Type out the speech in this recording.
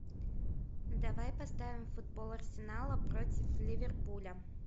давай поставим футбол арсенала против ливерпуля